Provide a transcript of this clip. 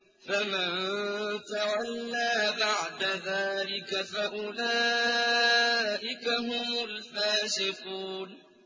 فَمَن تَوَلَّىٰ بَعْدَ ذَٰلِكَ فَأُولَٰئِكَ هُمُ الْفَاسِقُونَ